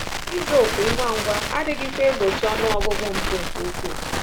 Ịza òkù ngwa ngwa adịghịkwa egbochi ọnụ ọgụgụ mpụ nke ukwuu.